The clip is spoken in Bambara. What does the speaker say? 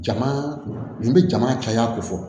Jama nin bɛ jama caya ko fɔ